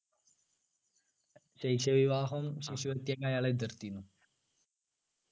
ശൈശവ വിവാഹം ശിശുഹത്യ ഒക്കെ അയാൾ എതിർത്തിരുന്നു